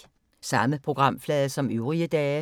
Samme programflade som øvrige dage